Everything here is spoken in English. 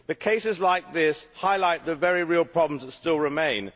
But cases like this highlight the very real problems that still remain.